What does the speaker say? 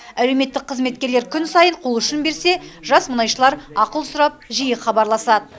әлеуметтік қызметкерлер күн сайын қолұшын берсе жас мұнайшылар ақыл сұрап жиі хабарласады